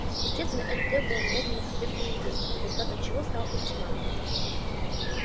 естественно это потребовало немедленных ответных действий результатом чего стал ультиматум